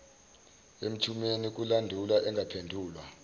emthumeni kulandulwa engaphendulwa